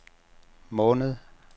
måned